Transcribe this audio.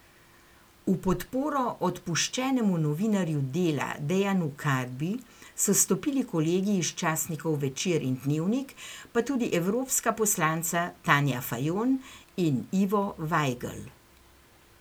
V podporo odpuščenemu novinarju Dela Dejanu Karbi so stopili kolegi iz časnikov Večer in Dnevnik, pa tudi evropska poslanca Tanja Fajon in Ivo Vajgl.